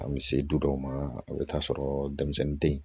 An bɛ se du dɔw ma i bɛ taa sɔrɔ denmisɛnnin tɛ yen